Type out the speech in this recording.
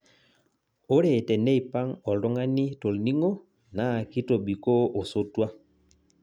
Ore teneipang' oltung'ani tolning'o naa kitobikoo osotua